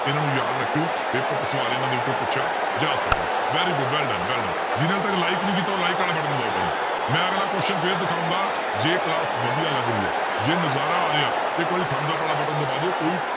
ਇਹਨਾਂ ਨੂੰ ਯਾਦ ਰੱਖਿਓ ਪੇਪਰ 'ਚ ਸਵਾਲ ਇਹਨਾਂ ਦੇ ਵਿੱਚੋਂ ਪੁੱਛਿਆ ਜਾ ਸਕਦਾ ਹੈ very good well done well done ਜਿਹਨੇ ਹਾਲੇ ਤੱਕ like ਨੀ ਕੀਤਾ ਉਹ like ਵਾਲਾ button ਦਬਾਓ ਪਹਿਲਾਂ, ਮੈਂ ਅਗਲਾ question ਫਿਰ ਦਿਖਾਵਾਂਗਾ ਜੇ class ਵਧੀਆ ਲੱਗ ਰਹੀ ਹੈ ਜੇ ਨਜ਼ਾਰਾ ਆ ਰਿਹਾ ਇੱਕ ਵਾਰੀ thumbs up ਵਾਲਾ button ਦਬਾ ਦਿਓ ਕੋਈ